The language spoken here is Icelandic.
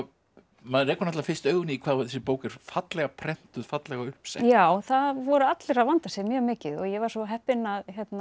maður rekur fyrst augun í hvað þessi bók er fallega prentuð fallega uppsett já það voru allir að vanda sig mjög mikið og ég var svo heppin að